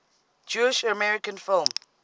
jewish american film